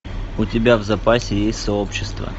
у тебя в запасе есть сообщество